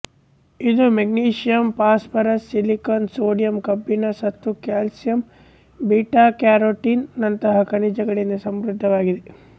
ಇದು magnesium phosphorus silicon sodium ಕಬ್ಬಿಣ ಸತು ಕ್ಯಾಲ್ಸಿಯಂ ಬೀಟಾಕ್ಯಾರೋಟಿನ್ ನಂತಹ ಖನಿಜಗಳಿಂದ ಸಮೃದ್ಧವಾಗಿದೆ